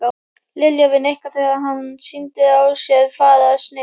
Lilja við Nikka þegar hann sýndi á sér fararsnið.